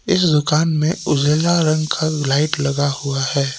इस दुकान में उजला रंग का लाइट लगा हुआ है।